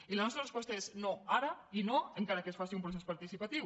i la resposta és no ara i no encara que es faci un procés participatiu